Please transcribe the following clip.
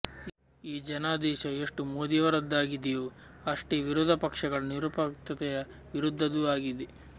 ಈ ಜನಾದೇಶ ಎಷ್ಟು ಮೋದಿಯವರದ್ದಾಗಿದೆಯೋ ಅಷ್ಟೇ ವಿರೋಧಪಕ್ಷಗಳ ನಿರುಪಯುಕ್ತತೆಯ ವಿರುದ್ಧದ್ದೂ ಆಗಿದೆ